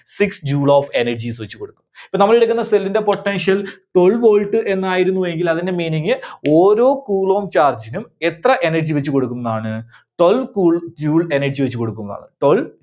Six Joule of energies വെച്ച് കൊടുക്കും. ഇപ്പോ നമ്മളെടുക്കുന്ന cell ന്റെ potential twelve volt എന്നായിരുന്നുവെങ്കിൽ അതിന്റെ meaning ഓരോ coulomb charge നും എത്ര energy വെച്ച് കൊടുക്കുന്നാണ്? Twelve Joule energy വെച്ച് കൊടുക്കുമെന്നാണ്. Twelve